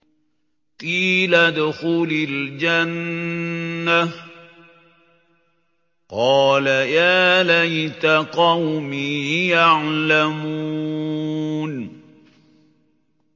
قِيلَ ادْخُلِ الْجَنَّةَ ۖ قَالَ يَا لَيْتَ قَوْمِي يَعْلَمُونَ